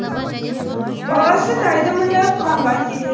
баласы тайды мініп ханға келеді